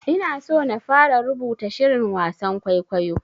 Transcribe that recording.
Ina so na fara rubuta shirin wasan kwaikwayo.